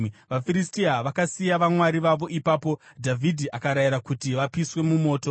VaFiristia vakasiya vamwari vavo ipapo, Dhavhidhi akarayira kuti vapiswe mumoto.